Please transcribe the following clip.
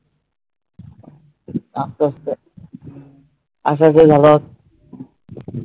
আসতে আসতে